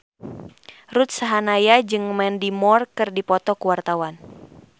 Ruth Sahanaya jeung Mandy Moore keur dipoto ku wartawan